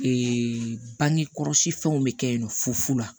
bange kɔlɔsi fɛnw be kɛ yen nɔ fu fu la